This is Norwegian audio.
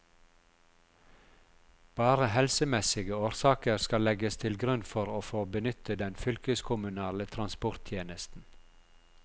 Bare helsemessige årsaker skal legges til grunn for å få benytte den fylkeskommunale transporttjenesten.